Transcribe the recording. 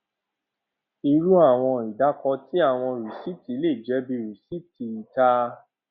iru awọn idaako ti awọn risiti le jẹ bi risiti ita